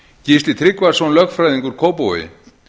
gísli tryggvason lögfræðingur kópavogi